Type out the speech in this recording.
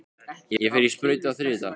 Ég fer í sprautu á þriðjudag.